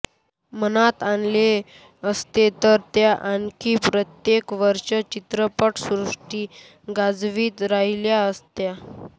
मनात आणले असते तर त्या आणखी कित्येक वर्षे चित्रपटसृष्टी गाजवीत राहिल्या असत्या